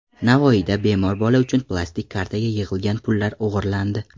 Navoiyda bemor bola uchun plastik kartaga yig‘ilgan pullar o‘g‘irlandi.